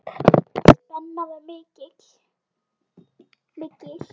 Spennan var mikil.